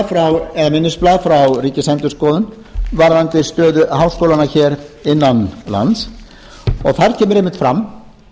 skýrsla eða minnisblað frá ríkisendurskoðun varðandi stöðu háskólanna hér innan lands og þar kemur einmitt fram